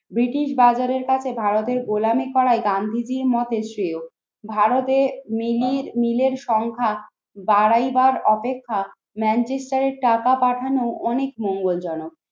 British বাজারের কাছে ভারতের গোলামী করায় গান্ধীজির মত শ্রেয়। ভারতে নীলির নীলের সংখ্যা বাড়াইবার অপেক্ষা ম্যানচেষ্টারে টাকা পাঠানো অনেক মঙ্গলজনক।